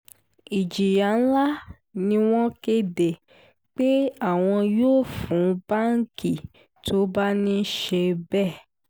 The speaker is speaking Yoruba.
ìjìyà ńlá ni wọ́n kéde pé àwọn yóò fún báǹkì tó bá ń ṣe bẹ́ẹ̀